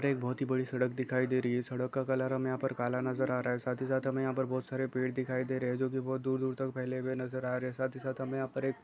एक बहुत ही बड़ी सड़क दिखाई दे रही है सड़क का कलर हमें यहाँ पर काला नजर आ रहा है साथ ही साथ हमें यहाँ पर बहुत सारे पेड़ दिखाई दे रहे हैं जो की बहुत दूर-दूर तक का फैले हुए नजर आ रहे हैं साथ ही साथ हमें यहाँ पर एक--